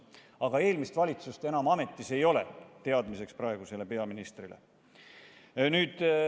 Aga eelmist valitsust enam ametis ei ole, teadmiseks praegusele peaministrile.